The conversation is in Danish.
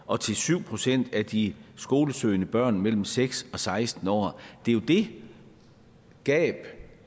og til syv procent af de skolesøgende børn mellem seks og seksten år det er jo det gab